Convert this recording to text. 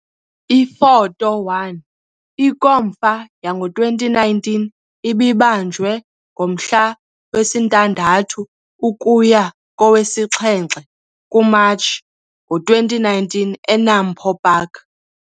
Ifoto 1- INkomfa yango-2019 ibibanjwe ngomhla wesi-6 ukuya kowe-7 kuMatshi ngo-2019 eNAMPO Park.